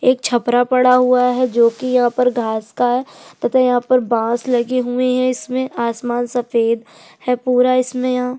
एक छपरा पड़ा हुआ है जोकि यहाँ पर घास का तथा यहाँ पर बाँस लगे हुए है इसमें आसमान सफेद है पूरा इसमें यहाँ --